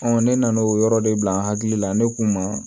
ne nan'o yɔrɔ de bila n hakili la ne k'u ma